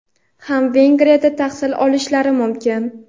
ham Vengriyada tahsil olishlari mumkin.